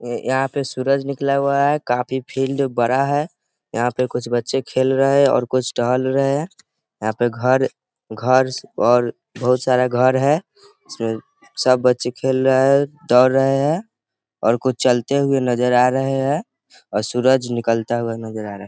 यहाँ पे सूरज निकला हुआ है काफी फील्ड बड़ा है यहाँ पे कुछ बच्चे खेल रहे हैं और कुछ टहल रहे हैं यहाँ पे घर घर और बहुत सारा घर है उसमे सब बच्चे खेल रहे हैं दौड़ रहे हैं और कुछ चलते हुए नजर आ रहे हैं और सूरज निकलता हुआ नजर आ रहा है।